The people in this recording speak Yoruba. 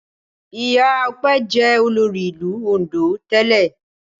Ìyá Ọpẹ́ jẹ́ olórí ìlú Oǹdó tẹ́lẹ̀.